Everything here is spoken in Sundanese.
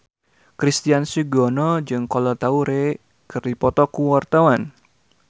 Christian Sugiono jeung Kolo Taure keur dipoto ku wartawan